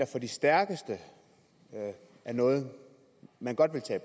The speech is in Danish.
for de stærkeste er noget man godt vil tage